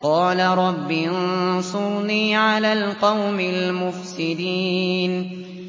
قَالَ رَبِّ انصُرْنِي عَلَى الْقَوْمِ الْمُفْسِدِينَ